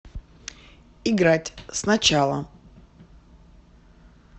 играть сначала